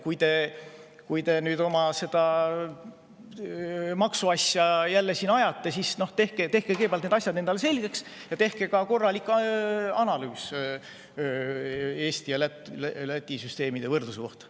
Kui te nüüd jälle siin oma seda maksuasja ajate, siis tehke kõigepealt need asjad endale selgeks ja tehke korralik analüüs Eesti ja Läti süsteemi võrdluse kohta.